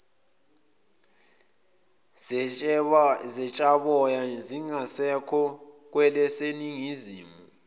zetsheboya zingasekho kwelaseningizimu